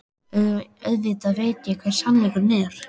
Auðvitað veit ég hver sannleikurinn er.